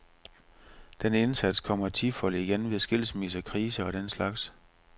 Den indsats kommer tifold igen, ved skilsmisser, kriser og den slags.